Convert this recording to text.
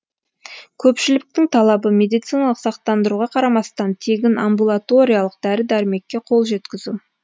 көпшіліктің талабы медициналық сақтандыруға қарамастан тегін амбулаториялық дәрі дәрмекке қол жеткізу